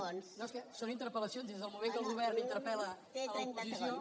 no és que són interpel·lacions des del moment que el govern interpel·la l’oposició